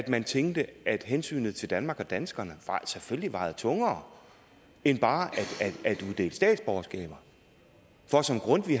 man tænkte at hensynet til danmark og danskerne selvfølgelig vejede tungere end bare at uddele statsborgerskaber for som grundtvig